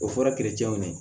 O fɔra